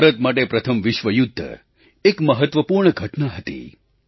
ભારત માટે પ્રથમ વિશ્વ યુદ્ધ એક મહત્ત્વપૂર્ણ ઘટના હતી